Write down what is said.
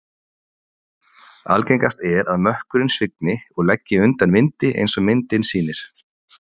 Algengast er að mökkurinn svigni og leggi undan vindi eins og myndin sýnir.